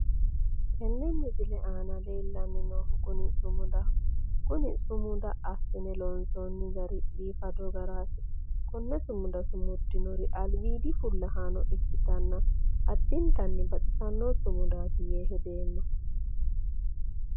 tenne misile aana leellanni noohu kuni sumudaho konne sumuda assine loonsoonni gari biifado garaati konne sumuda sumuddinori albiidi fullahaano ikkitanna additanni baxisanno sumudaati yee hedeemma.